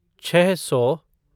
छः सौ